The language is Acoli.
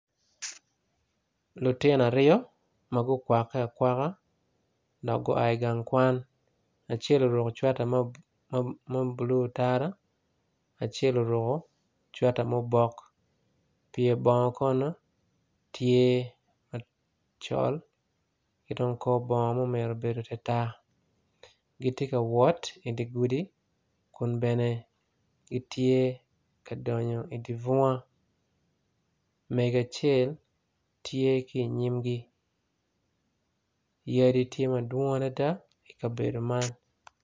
Lutino aryo magukwake akwaka magua igang kwan acel oruko cweta mablue tara acel oruko cweta ma obok pyer bongo kono tye acol cidong kor bongo tye ma obedo tartar gitye ka wot idigudi kun bene gitye ka donyo idibunga mego acel tye ki inyimgi yadi tye madwong adada i kabedo man.